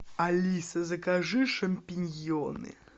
алиса закажи шампиньоны